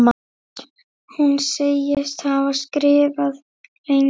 Hún segist hafa skrifað lengi.